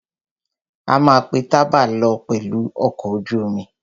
A ma pé tabá lọ pẹ̀lù ọkọ̀ ojú omi.